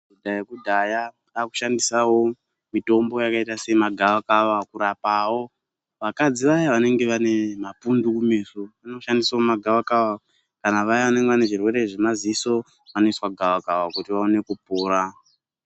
Nyaya yekushandisawo mitombo yakaita semagavakava pakurapawo vakadzi vaya vanenge vane mapundu kumeso vanoshandisawo magavakava, kana vaya vanenge vane zvirwere zvemaziso vanoiswa gavakava kuti vaone kupora.